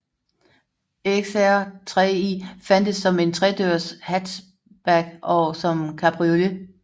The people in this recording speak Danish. XR3i fandtes som tredørs hatchback og som cabriolet